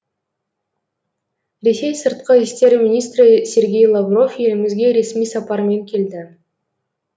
ресей сыртқы істер министрі сергей лавров елімізге ресми сапармен келді